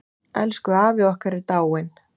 Elsku afi okkar er dáinn.